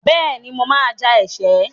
Bẹ́ẹ̀ni, mo máa ja ẹ̀ṣẹ́.